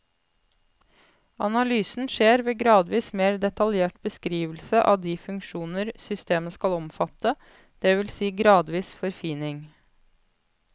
Analysen skjer ved gradvis mer detaljert beskrivelse av de funksjoner systemet skal omfatte, det vil si gradvis forfining.